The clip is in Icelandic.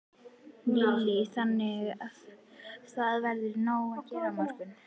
Lillý: Þannig að það verður nóg að gera á morgun?